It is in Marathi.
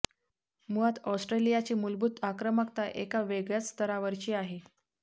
मुळात ऑस्ट्रेलियाची मूलभूत आक्रमकता एका वेगळय़ाच स्तरावरची आहे